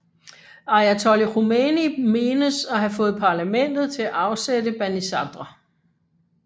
Ayatollah Khomeini menes at have fået parlamentet til at afsætte Banisadr